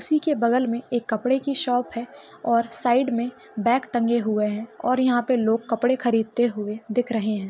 उसिके बगल मे एक कपड़े की शॉप है और साइड मे बॅग टंगे हुए है और यहा पर लोग कपड़े खरीदते हुए दिख रहे है।